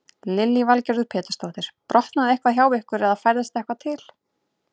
Lillý Valgerður Pétursdóttir: Brotnaði eitthvað hjá ykkur eða færðist eitthvað til?